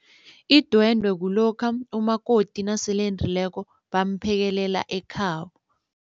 Idwende kulokha umakoti nasele endileko bamphekelela ekhabo.